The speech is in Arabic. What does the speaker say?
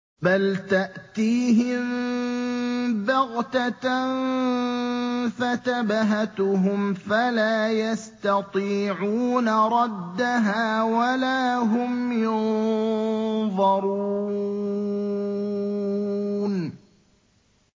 بَلْ تَأْتِيهِم بَغْتَةً فَتَبْهَتُهُمْ فَلَا يَسْتَطِيعُونَ رَدَّهَا وَلَا هُمْ يُنظَرُونَ